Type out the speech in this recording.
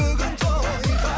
бүгін тойға